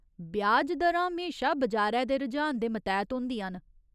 ब्याज दरां म्हेशा बजारै दे रुझान दे मतैह्त होंदियां न।